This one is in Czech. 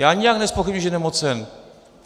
Já nijak nezpochybňuji, že je nemocen.